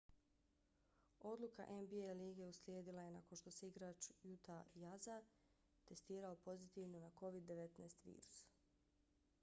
odluka nba lige uslijedila je nakon što se igrač utah jazza testirao pozitivno na covid-19 virus